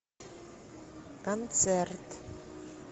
концерт